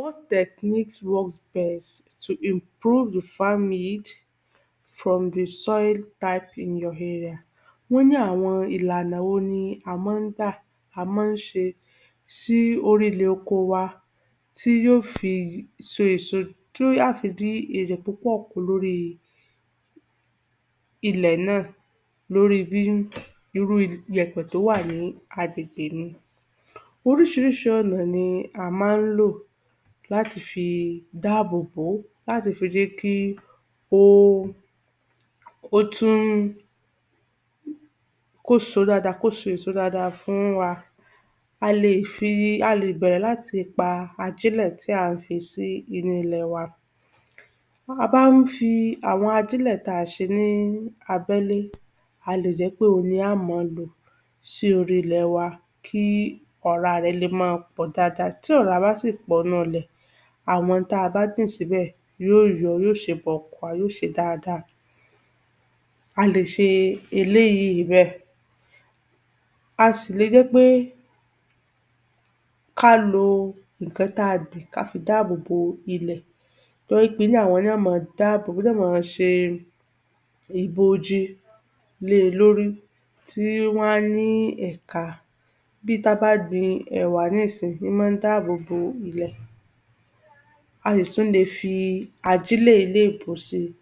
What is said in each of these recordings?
What technique works best to improve the farming from the soil type in your area, wọ́n àwọn ìlànà wo ni a má gbà, a má ṣe tí orí ilẹ̀ oko wa tí yó fi so èso, tí á fi rí èrè púpọ̀ kó lórí ilẹ̀ náà, lórí bí irú ìyẹ̀pẹ̀ tí ó wà ní àgbègbè mi, orísírísí ọ̀nà ni a má lò láti fi dábòbò, láti fi jẹ́ kí ó tún kó so dáadáa kó so èso dáadáa fún wa,a lè fi, a lè bẹ̀rè láti pa ajílẹ̀ tí a fi sì inú ilẹ̀ wa, a bá fi àwọn ajílẹ̀ tí a ṣe ní abẹ́lé a lè jẹ́ pé òun ni a ó mọ lò sórí ilẹ̀ wa kí ọ̀rá rẹ̀ ma fi pọ̀ dáadáa, tí ọ̀rá bá sì pọ̀ nínú ilẹ̀, àwọn ohun tí a bá gbìn sí bẹ́ẹ̀, yó yọ, yó ṣe bọ̀kùà yó ṣe dáadáa,a lé ṣe eléyí bẹ́è, a sì lè jẹ́ pẹ́ ká lo ìkan tí a gbìn ká fi dábòbò ilẹ̀, torí àwọn ni yó ma dábò yó mọ ṣe ìbòji le lórí tí wọ́n á ní ẹ̀ka, bi tí a bá gbin ẹ̀wà nísìnyì, í mọ́ dábòbò ilẹ̀, a sì tún le fi ajílè elébó sí i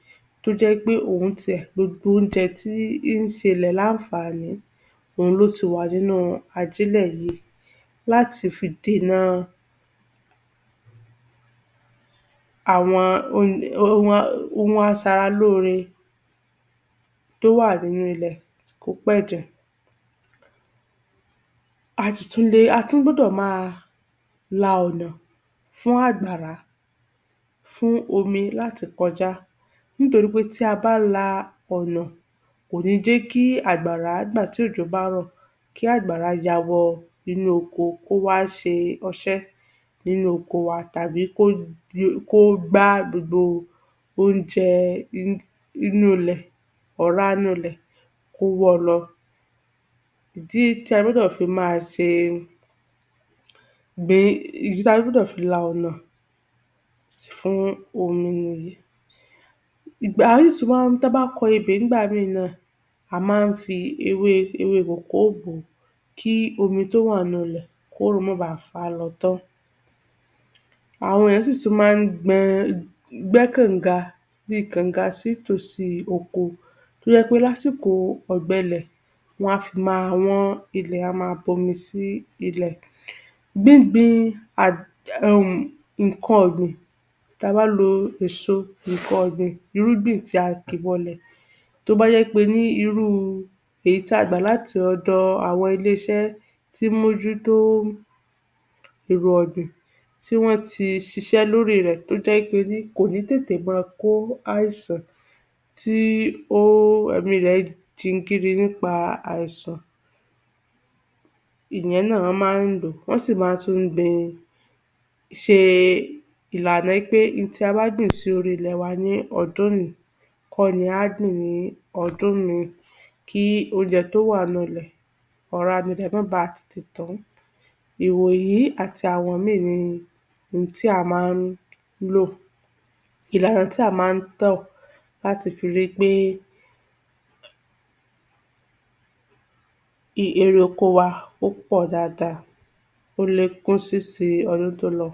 tó jẹ́ pé òun ní tirẹ̀, gbogbo oúnjẹ tí ṣẹ ilẹ̀ ní ànfàní, òun ló ti wa nínú ajílẹ̀ yí, láti fi dènà àwọn ohhhhhh ohun a sara lóre tó wà nínú ilẹ̀ kópẹ̀jẹ̀, a sì tún le, a tún gbọ́dọ̀ má a la ọ̀ná fún àgbàrá fún omi láti kọjá nítorípé tí a bá la ọ̀nà kò ní jẹ́ kí àgbàrá gba ibẹ̀ tí òjò bá rọ̀, kí àgbàrá ya wọ inú oko kó wá ṣẹ ọṣẹ́ nínú oko wa, tàbí kó le, kó gbá gbogbo, oúnjẹ inú ilẹ̀, ọ̀rá inú ilẹ̀ wọ lọ, ìdí tí a gbọ́dọ̀ fi má ṣẹ gbé, ìdí tí a gbọ́dọ̀ fi la ọ̀nà fún omi, ìgbàyí sú wá tí a bá kọ ebè ní gbà mí ì náà, a má fi ewé, ewé kòkó bò ó, kí omi tí ó wà nínú wọn kí òrùn má bá fà á tán, àwọn ènìyàn sì tún gbẹ, gbẹ́ kànga bí kànga sí etí oko tó jẹ́ pé ní àsìkò ọ̀gbẹlẹ̀ wọ́n fi ma wọ́n ilẹ̀ a ma bu omi si ilẹ̀. Gbíngbin arrg umm ìkan ọ̀gbìn ta bá lo èso ìkan ọ̀gbìn irúgbìn tí a kì bọ lẹ̀ tó bá jẹ́ pe ní irú èyí tí a gbà láti ọ̀dọ̀ àwọn ilé-iṣẹ́ tí mójú tó èrò ọ̀gbìn tí wọ́n ti ṣiṣẹ́ lórí rẹ̀, tó jẹ́ pé kò ní tètè ma kó àìsàn tí ó ẹ̀mí rẹ̀ jigiri nípa àìsàn èyin náà a má lò ó wọ́n sì tún má gbin, ṣe ìlànà pé ohun tí a bá gbìn sí orí ilẹ̀ wa ní odún yìí kó ni á gbìn ní odún mí ì kí oúnje tó wà nínú ilẹ̀, ọ̀rá inú ilẹ̀ má ba tètè tán, ìwòyí àti àwọn mí ì ni ohun tí a má lò, ìlànà tí a má tọ̀ láti fi ri pé i èrè oko wa ó pọ̀ dáadáa, o le kún sí si todún tó lọ.